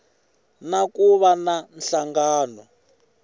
na ku va na nhlangano